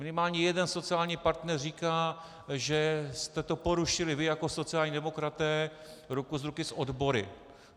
Minimálně jeden sociální partner říká, že jste to porušili vy jako sociální demokraté ruku v ruce s odbory.